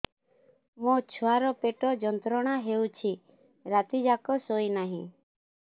ମୋ ଛୁଆର ପେଟ ଯନ୍ତ୍ରଣା ହେଉଛି ରାତି ଯାକ ଶୋଇନାହିଁ